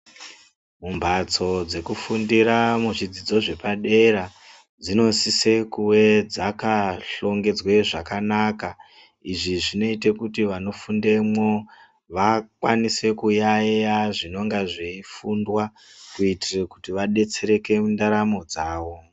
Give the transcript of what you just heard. Mumhatso dzekufundira muzvidzidzo zvepadera dzinosise kuve dzakahlongedzwe zvakanaka. Izvi zvinoite kuti vanofundemwo vakwanise kuyaiya zvinonga zveifundwa kuitire kuti vabetsereke mundaramo dzavo.